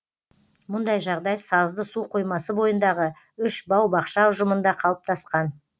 мұндай жағдай сазды су қоймасы бойындағы үш бау бақша ұжымында қалыптасқан